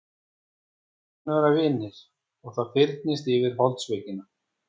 Við skulum vera vinir og það fyrnist yfir holdsveikina.